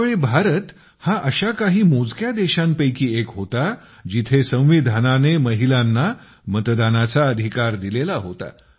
त्या वेळी भारत हा अशा काही मोजक्या देशांपैकी एक होता जिथे संविधानाने महिलांना मतदानाचा अधिकार दिलेला होता